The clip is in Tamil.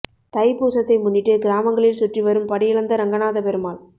தை பூசத்தை முன்னிட்டு கிராமங்களில் சுற்றி வரும் படியளந்த ரங்கநாத பெருமாள்